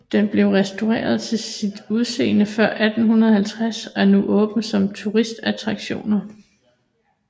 Den blev restaureret til sit udseende før 1850 og er nu åben som turistattraktioner